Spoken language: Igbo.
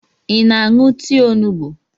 Ị na-aṅụ tii onugbu?